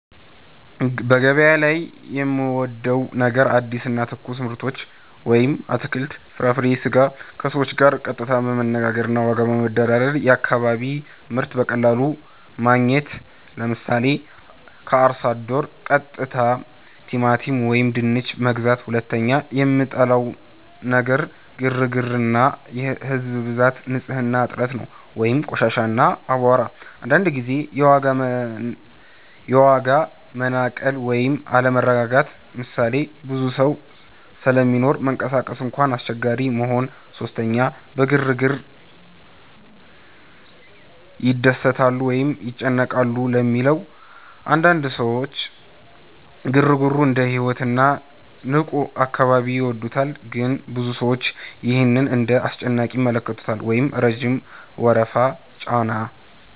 ) በገበያ ላይ የምወዴው ነገር አዲስ እና ትኩስ ምርቶች (አትክልት፣ ፍራፍሬ፣ ስጋ) ከሰዎች ጋር ቀጥታ መነጋገር እና ዋጋ መደራደር የአካባቢ ምርት በቀላሉ ማግኘት 👉 ምሳሌ፦ ከአርሶ አደር ቀጥታ ቲማቲም ወይም ድንች መግዛት 2) የምጠላው ነገር ግርግር እና ህዝብ ብዛት ንጽህና እጥረት (ቆሻሻ፣ አቧራ) አንዳንድ ጊዜ የዋጋ መናቀል ወይም አለመረጋጋት ምሳሌ፦ ብዙ ሰው ስለሚኖር መንቀሳቀስ እንኳን አስቸጋሪ መሆን 3) በግርግር ይደሰታሉ ወይስ ይጨነቃሉ ለሚለው? አንዳንድ ሰዎች ግርግሩን እንደ ሕይወት እና ንቁ አካባቢ ይወዱታል ግን ብዙ ሰዎች ይህን እንደ አስጨናቂ ይመለከታሉ (ረጅም ወረፋ፣ ጫና)